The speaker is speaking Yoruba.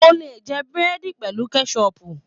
O le jẹ burẹdi pẹlu kẹsọpu.